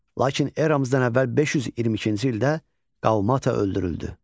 Lakin eramızdan əvvəl 522-ci ildə Qalmata öldürüldü.